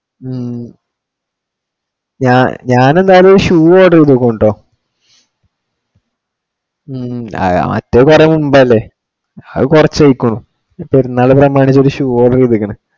ഉം ഞാൻ എന്തായാലും shoe വേ ഇടുള്ളൂ കൊണ്ടുപോവാൻ. അത് വരിക മുമ്പേ അല്ലെ. അത് കുറച്ചു ആയേക്കുണു. പെരുന്നാള് പ്രമാണിച്ചു ഒരു shoe ആ order ചെയ്തേക്കുന്നെ.